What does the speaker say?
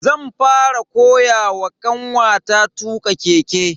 zan fara koyawa kanwata tuka keke.